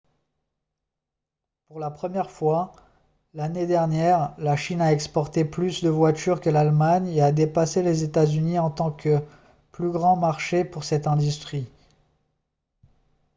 pour la première fois l'année dernière la chine a exporté plus de voitures que l'allemagne et a dépassé les états-unis en tant que plus grand marché pour cette industrie